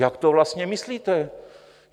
Jak to vlastně myslíte?